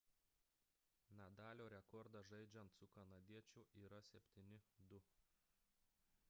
nadalio rekordas žaidžiant su kanadiečiu yra 7–2